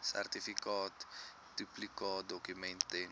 sertifikaat duplikaatdokument ten